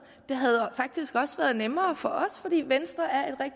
og det havde faktisk også været nemmere for os fordi venstre er